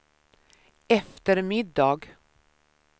eftermiddag